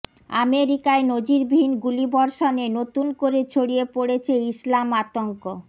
আমেরিকায় নজিরবিহীন গুলিবর্ষণে নতুন করে ছড়িয়ে পড়েছে ইসলাম আতঙ্ক